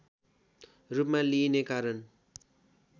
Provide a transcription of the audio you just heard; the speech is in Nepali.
रूपमा लिइने कारण